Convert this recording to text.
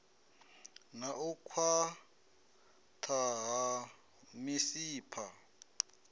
na u khwaṱha ha misipha